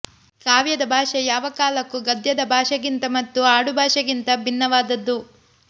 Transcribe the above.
ಕಾವ್ಯದ ಭಾಷೆ ಯಾವ ಕಾಲಕ್ಕೂ ಗದ್ಯದ ಭಾಷೆಗಿಂತ ಮತ್ತು ಆಡುಭಾಷೆಗಿಂತ ಭಿನ್ನವಾದದ್ದು